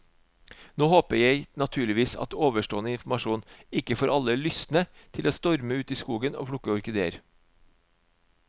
Nå håper jeg naturligvis at ovenstående informasjon ikke får alle lystne til å storme ut i skogen og plukke orkideer.